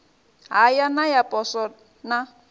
haya na ya poswo na